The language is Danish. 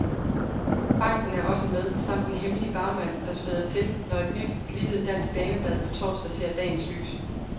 Banken er også med, samt en hemmelig bagmand, der spæder til, når et nyt, glittet, dansk dameblad på torsdag ser dagens lys.